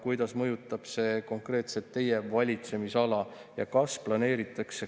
Kuidas mõjutab see konkreetselt teie valitsemisala?